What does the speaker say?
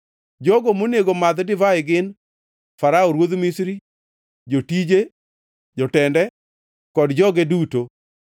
jogo monego madh divai gin, Farao ruodh Misri, jotije, jotende, kod joge duto;